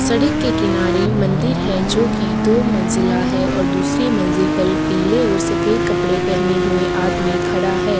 सड़क के किनारे मंदिर है जो कि दो मंजिला है और दूसरे मंजिल पर पीले और सफेद कपड़े पहने हुए आदमी खड़ा है।